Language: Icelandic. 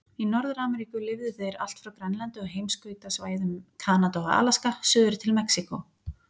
Í Norður-Ameríku lifðu þeir allt frá Grænlandi og heimskautasvæðum Kanada og Alaska suður til Mexíkó.